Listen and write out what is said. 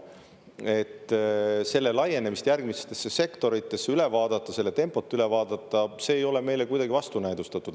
Et selle laienemist järgmistesse sektoritesse üle vaadata, selle tempot üle vaadata – see ei ole meile kuidagi vastunäidustatud.